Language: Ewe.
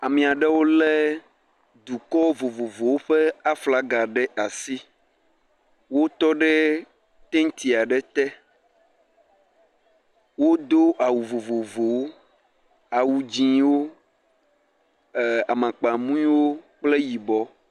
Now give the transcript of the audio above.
Ame aɖewo le dukɔ vovovowo ƒe aflaga ɖe asi, wotɔ ɖe tenti aɖe te, wodo awu vovovowo, awu dzɛ̃wo, amakpamuiwo kple yibɔ.